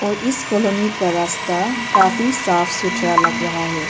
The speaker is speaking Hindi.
और इस कॉलोनी का रास्ता काफी साफ सुथरा लग रहा है।